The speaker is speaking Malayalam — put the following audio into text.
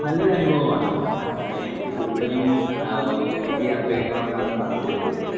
നല്ലൊരനുഭവമാണ്. ഏഹ് എനിക്ക് കൂടുതലും ആഹ് ഒ ഒറ്റയ്ക്ക് യാത്ര ചെയ്യുന്നതിനോടാണ് താല്പര്യം കൂടുതൽ.